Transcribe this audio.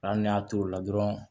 Hali n'i y'a t'o la dɔrɔn